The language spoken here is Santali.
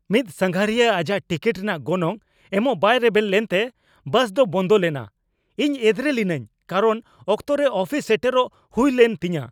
ᱢᱤᱫ ᱥᱟᱸᱜᱷᱟᱨᱤᱭᱟᱹ ᱟᱡᱟᱜ ᱴᱤᱠᱤᱴ ᱨᱮᱭᱟᱜ ᱜᱚᱱᱚᱝ ᱮᱢᱚᱜ ᱵᱟᱭ ᱨᱮᱵᱮᱱ ᱞᱮᱱᱛᱮ ᱵᱟᱥ ᱫᱚ ᱵᱚᱱᱫᱚ ᱞᱮᱱᱟ ᱾ ᱤᱧ ᱮᱫᱽᱨᱮ ᱞᱤᱱᱟᱹᱧ ᱠᱟᱨᱚᱱ ᱚᱠᱛᱚ ᱨᱮ ᱚᱯᱷᱤᱥ ᱥᱮᱴᱮᱨᱚᱜ ᱦᱩᱭ ᱞᱮᱱ ᱛᱤᱧᱟᱹ ᱾